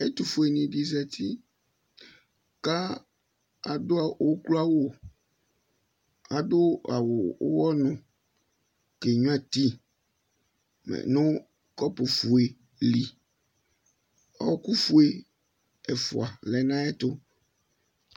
Ɛtʋfuenɩ dɩ zati ka adʋ ukloawʋ ,adʋ awʋ ʋwɔnʋ kenyuǝ ti nʋ kɔpʋfue dɩ li Ɔɔkʋfue ɛfʋa lɛ n 'ayɛtʋ